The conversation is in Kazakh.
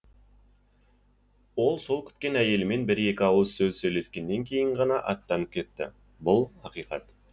ол сол күткен әйелімен бір екі ауыз сөйлескеннен кейін ғана аттанып кетті бұл ақиқат